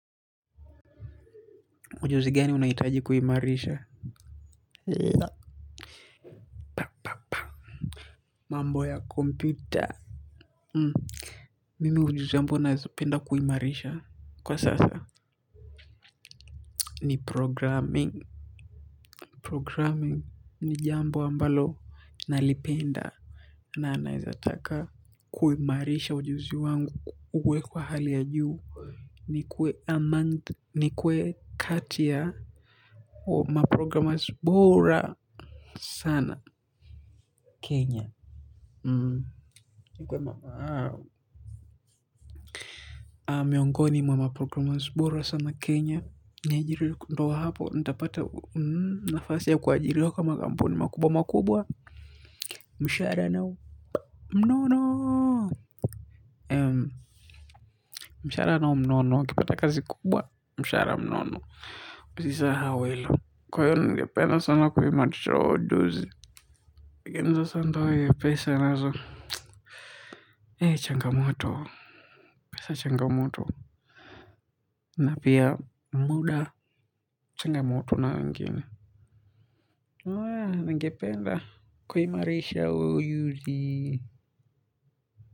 Ujuzi gani unaitaji kuhimarisha. La. Mambo ya kompyuta. M. Mimi ujuzi ambao naezapenda kuhimarisha. Kwa sasa. Ni programming. Programming. Ni jambo ambalo. Nalipenda. Na anayezataka. Kuhimarisha ujuzi wangu. Uwe kwa hali ya juu. Ni kuwe Amonda. Ni kuwe kati ya. Wa ma programmers bora. Sana. Kenya. Ni kuwe mama hao. Miongoni mwa ma programmers bora sana Kenya. Niajiri ndio hapo. Nitapata nafasi ya kuajiriwa kwa makampuni makubwa makubwa. Mshahara nao mnono. Mshara na mnono. ukipata kazi kubwa. Mshahara mnono. Usisahau hilo. Kwa hiyo ningependa sana kuimarisha huo ujuzi. Lakini sasa ndio hiyo pesa nazo changamoto. Pesa changamoto. Na pia muda changamoto na wengine. Ningependa kuimarisha huu ujuzi.